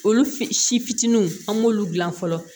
Olu f si fitininw an b'olu dilan fɔlɔ